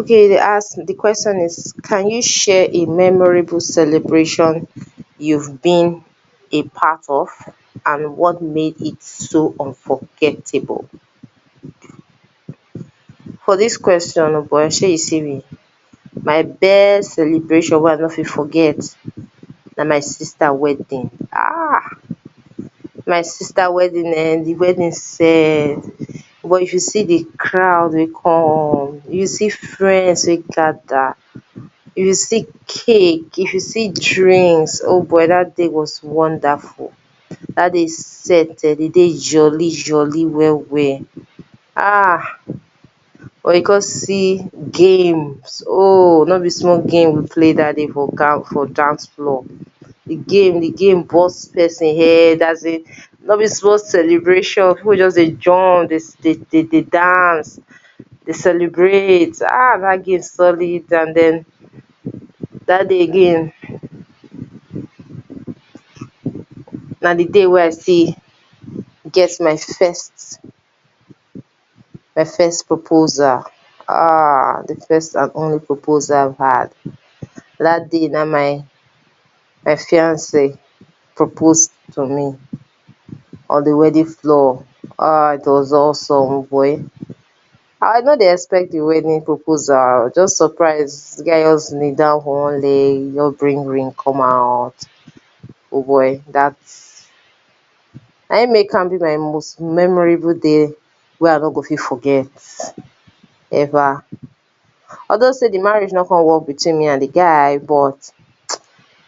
Okay you dey ask, di question is can you share a memorable celebration you’ve been a part of? And what made it so unforgettable? For dis question o boy shey you see me, my best celebration wey I nor fit forget na my sister wedding ah!, my sister wedding[um], di wedding set, o boy if you see di crowd wey come, if you see di friends wey gather, if you see cake, if you see drinks, o boy dat day was wonderful. Dat day set[um], di day jolly jolly well well ah, if you come see games, oh nor be small games we play dat day for dance floor. Di game, di game burst person head, asin nor be small celebration, people just dey jump, dey dey dey dance, dey celebrate, dat game solid and den, dat day again, na di day wey still get my first, my first proposal ah, my fisrt and proposal wey I get, dat day na im my my fiancée propose to me on di wedding floor, ah, It was awesome o boy, I no dey expect di wedding proposal, di guy just kneel down for one kneel, just bring ring come out, o boy dat, na im make am be my most memorable day wey I no go fit forget ever, although di marriage nor come work between me and di guy, but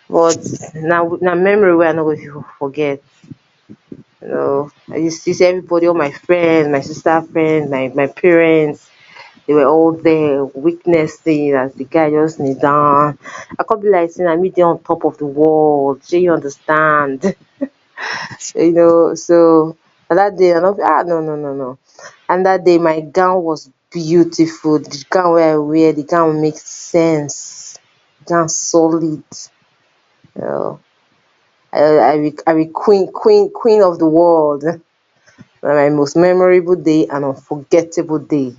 but na memory wey I n go fit forget. You know see everybody, all my friend my sister friend my parents, dey were all there witnessing, as di guy just kneel down, I come be like sey na me dey on top of di world shey you understand, you so na dat day I nor no no no no, and dat day my gown was beautiful, di gown wey I wear di gown make sense, di gown solid, you know I be queen, queen, queen of di world na my most memorable day and unforgettable day.